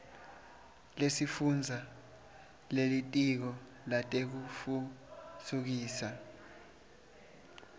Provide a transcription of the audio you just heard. lesifundza lelitiko letekutfutfukiswa